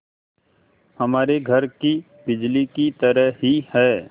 हमारे घर की बिजली की तरह ही है